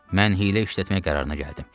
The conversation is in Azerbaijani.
Mən hiylə işlətmək qərarına gəldim.